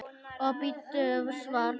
Og bíddu svars.